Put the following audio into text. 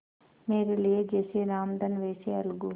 मेरे लिए जैसे रामधन वैसे अलगू